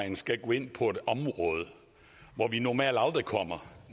man skal gå ind på et område hvor vi normalt aldrig kommer